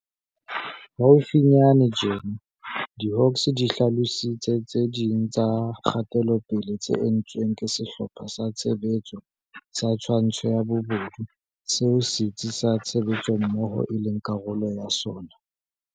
Haufinyane tjena, diHawks di hlalositse tse ding tsa kgatelopele tse entsweng ke Sehlopha sa Tshebetso sa Twantsho ya Bobodu, seo Setsi sa Tshebetsommoho e leng karolo ya sona.